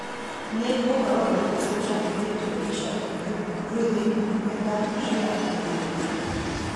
nĩ ũhoro ũrĩkũ úcabithitio ica ikuhĩ ũrĩ thĩinĩ nenda cia ũkĩnyaniria